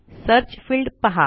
search field पहा